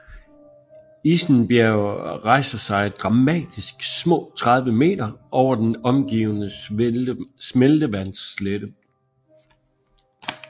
Isen Bjerg rejser sig dramatisk små 30 meter over den omgivende smeltevandsslette